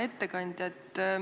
Hea ettekandja!